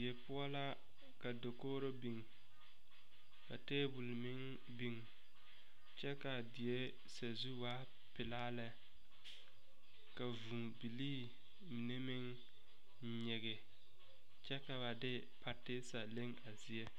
Die poʊ la ka dakooro biŋ. Ka tabul meŋ biŋ kyɛ kaa die sazu waa pulaa lɛ. Ka vuu bilii mene meŋ nyige kyɛ ka ba de patesa leŋ a zie